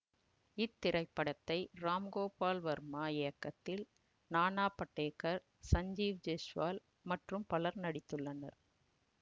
இத்திரைப்படத்தை ராம் கோபால் வர்மா இயக்கத்தில் நானா படேகர் சஞ்சீவ் ஜெய்ஷ்வல் மற்றும் பலர் நடித்துள்ளனர்